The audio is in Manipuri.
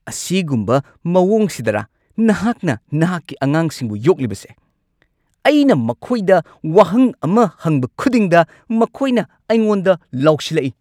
ꯑꯁꯤꯒꯨꯝꯕ ꯃꯑꯣꯡꯁꯤꯗꯔꯥ ꯅꯍꯥꯛꯅ ꯅꯍꯥꯛꯀꯤ ꯑꯉꯥꯡꯁꯤꯡꯕꯨ ꯌꯣꯛꯂꯤꯕꯁꯦ? ꯑꯩꯅ ꯃꯈꯣꯏꯗ ꯋꯥꯍꯪ ꯑꯃ ꯍꯪꯕ ꯈꯨꯗꯤꯡꯗ ꯃꯈꯣꯏꯅ ꯑꯩꯉꯣꯟꯗ ꯂꯥꯎꯁꯤꯜꯂꯛꯏ꯫